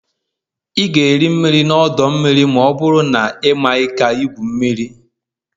Ị ga-eri mmiri na ọdọ mmiri ma ọ bụrụ na ị maghị ka igwu mmiri